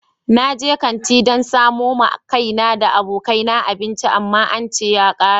Na je kanti dan samo ma kaina da abokai na abinci amma an ce ya kare.